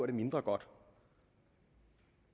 mindre godt